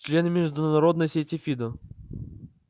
члены международной сети фидо